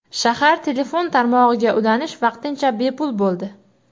Shahar telefon tarmog‘iga ulanish vaqtincha bepul bo‘ldi.